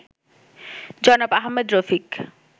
জনাব আহমদ রফিক